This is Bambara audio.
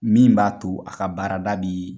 Min b'a to a ka baarada bi